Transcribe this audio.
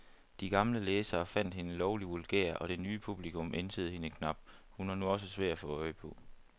De gamle læsere fandt hende lovlig vulgær, og det nye publikum ænsede hende knap, hun var nu også svær at få øje på.